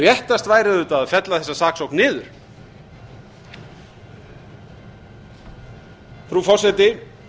réttast væri auðvitað að fella þessa saksókn niður frú forseti